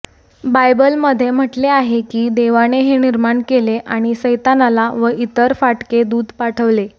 बायबलमध्ये म्हटले आहे की देवाने हे निर्माण केले आणि सैतानाला व इतर फाटके दूत पाठवले